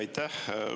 Aitäh!